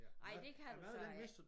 Ej det kan du så ikke